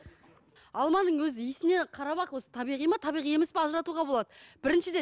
алманың өзі иісінен қарап ақ осы табиғи ма табиғи емес пе ажыратуға болады біріншіден